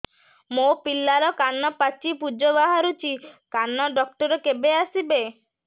ମୋ ପିଲାର କାନ ପାଚି ପୂଜ ବାହାରୁଚି କାନ ଡକ୍ଟର କେବେ ଆସିବେ